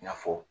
I n'a fɔ